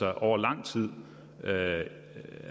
er over lang tid at det